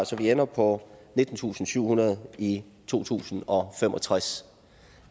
så vi ender på nittentusinde og syvhundrede ha i to tusind og fem og tres